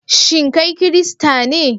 Shin kai Kirista ne?